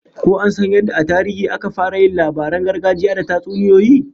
Ko an san yadda a tarihi aka fara yin labaran gargajiya da tatsuniyoyi?